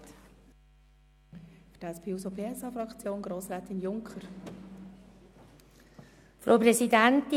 Für die SP-JUSO-PSA-Fraktion hat Grossrätin Junker das Wort.